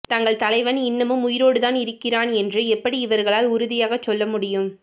தங்கள் தலைவன் இன்னமும் உயிரோடு தான் இருக்கிறான் என்று எப்படி இவர்களால் உறுதியாகச் சொல்ல முடியும்